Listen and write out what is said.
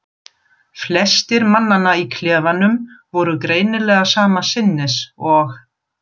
Flestir mannanna í klefanum voru greinilega sama sinnis og